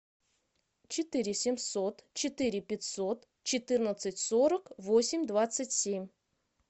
четыре семьсот четыре пятьсот четырнадцать сорок восемь двадцать семь